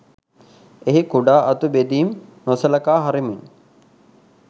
එහි කුඩා අතු බෙදීම් නොසලකා හරිමින්